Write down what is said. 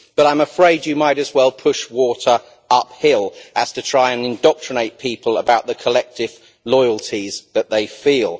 But I am afraid that you might as well push water uphill as try to indoctrinate people about the collective loyalties that they feel.